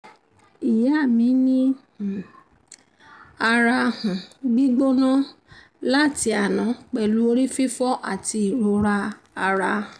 ìyá mi ní um ara um gbígbóná um láti àná pẹ̀lú orí fifo àti ìrora ara